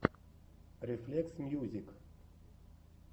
рефлексмьюзик